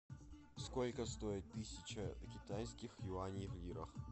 сколько стоит тысяча китайских юаней в лирах